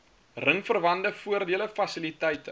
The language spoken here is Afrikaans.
ringsverwante voordele fasiliteite